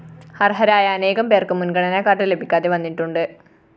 അര്‍ഹരായ അനേകം പേര്‍ക്കു മുന്‍ഗണന കാർഡ്‌ ലഭിക്കാതെ വന്നിട്ടുണ്ട്